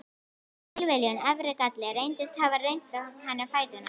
Tilviljun, erfðagalli, reyndist hafa reyrt á henni fæturna.